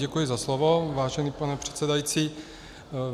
Děkuji za slovo, vážený pane předsedající.